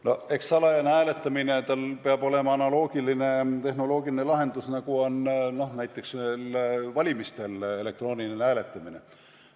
No eks salajase hääletamise jaoks peab olema analoogiline tehnoloogiline lahendus, nagu on näiteks valimistel elektroonilisel hääletamisel.